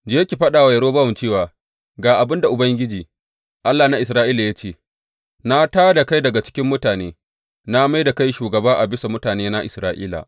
Je ki faɗa wa Yerobowam cewa ga abin da Ubangiji, Allah na Isra’ila ya ce, Na tā da kai daga cikin mutane, na mai da kai shugaba a bisa mutanena Isra’ila.